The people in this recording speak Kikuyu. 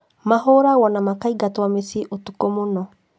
Mahũragwo na makaingatwo mĩciĩ ũtukũ muno